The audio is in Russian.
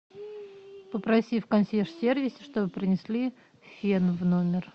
попроси в консьерж сервисе чтобы принесли фен в номер